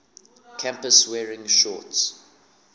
campus wearing shorts